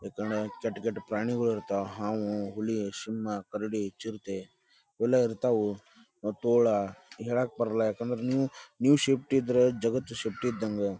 ಯಾಕಂದ್ರ ಕೆಟ್ಟ ಕೆಟ್ಟ ಪ್ರಾಣಿಗೊಳಿರ್ತಾವ ಹಾವು ಹುಲಿ ಸಿಂಹ ಕರಡಿ ಚಿರತೆ ಇವೆಲ್ಲ ಇರ್ತಾವು ಮತ್ತ ತೋಳ ಹೇಳಕ್ಬರಲ್ಲ ಯಾಕಂದ್ರ ನೀವು ನೀವು ಸೇಫ್ಟಿ ಇದ್ರ ಜಗತ್ತು ಸೇಫ್ಟಿ ಇದ್ದಂಗ .